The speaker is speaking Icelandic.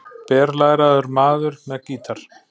BERLÆRAÐUR MAÐUR MEÐ GÍTAR